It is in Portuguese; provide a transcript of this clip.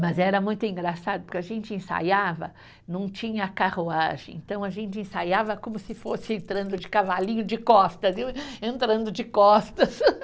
Mas era muito engraçado, porque a gente ensaiava, não tinha carruagem, então a gente ensaiava como se fosse entrando de cavalinho de costas, eu entrando de costas.